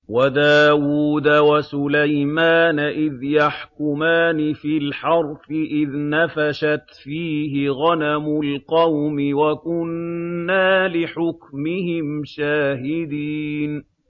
وَدَاوُودَ وَسُلَيْمَانَ إِذْ يَحْكُمَانِ فِي الْحَرْثِ إِذْ نَفَشَتْ فِيهِ غَنَمُ الْقَوْمِ وَكُنَّا لِحُكْمِهِمْ شَاهِدِينَ